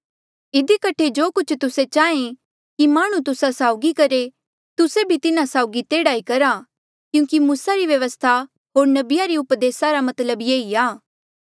इधी कठे जो कुछ तुस्से चाहें कि माह्णुं तुस्सा साउगी करहे तुस्से भी तिन्हा साउगी तेह्ड़ा ई करा क्यूंकि मूसा री व्यवस्था होर नबिया री उपदेस रा मतलब ये ई आ